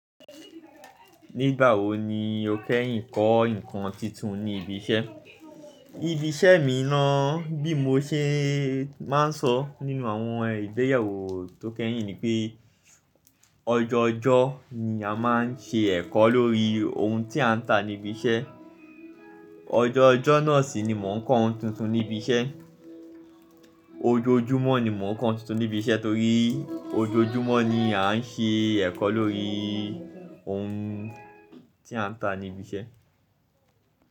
Nígbà wo ni o kẹ́yìn kọ́ ǹkan titun ní ibi iṣẹ́? Ibi iṣẹ́ mi ná, bí mo ṣe máa ń sọ nínú àwọn ìgbéyẹ̀wò tó kẹ́yìn ni pé ọjọọjọ́ ni a máa ń ṣe ẹ̀kọ́ lórí ohun tí a ń tà níbi iṣẹ́. Ọjọọjọ́ náà sì ni mò ń kọ́ ohun tuntun níbi iṣẹ́. Ojoojúmọ́ ni mò ń kọ́ ohun tuntun níbi iṣẹ́ torí ojoojúmọ́ ni a ń ṣe ẹ̀kọ́ lórí ohun tí a ń tà níbi iṣẹ́